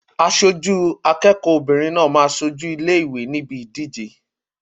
Aṣojú akẹ́kọ̀ọ́ obìnrin náà máa ṣojú ilé ìwé níbi ìdíje náà.